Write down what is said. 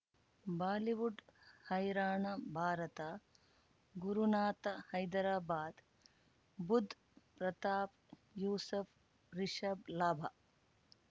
Bollywood ಹೈರಾಣ ಭಾರತ ಗುರುನಾಥ ಹೈದರಾಬಾದ್ ಬುಧ್ ಪ್ರತಾಪ್ ಯೂಸಫ್ ರಿಷಬ್ ಲಾಭ